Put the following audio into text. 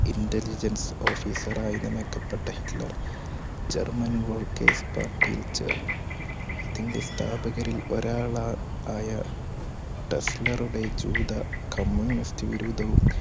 Inteligents ഓഫീസറായി നിനക്കപ്പെട്ട Hitler German വോൾകെയ്സ് പാർട്ടിയിൽ ചേർന്നു. അതിന്റെ സ്ഥാപകരിൽ ഒരാളായ ടെസ്റ്റ്‌ലറുടെ ജൂതകമ്മ്യൂണിസ്റ്റ് വിരുദ്ധവും